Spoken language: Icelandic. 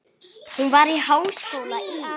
Hún var í háskóla í